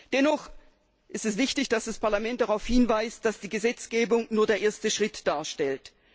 Dennoch ist es wichtig, dass das Parlament darauf hinweist, dass die Gesetzgebung nur den ersten Schritt darstellt.